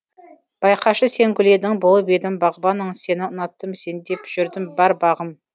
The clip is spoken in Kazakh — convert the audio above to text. байқашы сен гүл едің болып едім бағбаның сені ұнаттым сен деп жүрдім бар бағым